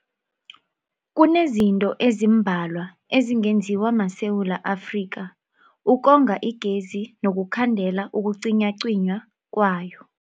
Kunezinto ezimbalwa ezingenziwa maSewula Afrika ukonga igezi nokukhandela ukucinywacinywa kwayo.